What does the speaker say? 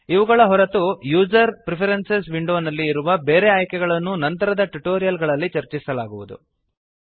ಇವುಗಳ ಹೊರತು user preferences ವಿಂಡೋನಲ್ಲಿ ಇರುವ ಬೇರೆ ಆಯ್ಕೆಗಳನ್ನು ನಂತರದ ಟ್ಯುಟೋರಿಯಲ್ ಗಳಲ್ಲಿ ಚರ್ಚಿಸಲಾಗುವದು